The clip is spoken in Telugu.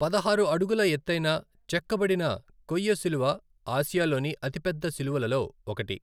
పదహారు అడుగుల ఎత్తైన చెక్కబడిన కొయ్య శిలువ ఆసియాలోని అతిపెద్ద శిలువలలో ఒకటి.